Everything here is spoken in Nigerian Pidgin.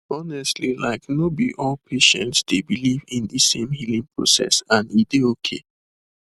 honestly like no be all patients dey believe in de same healing process and e dey okay